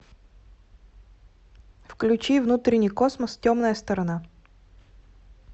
включи внутренний космос темная сторона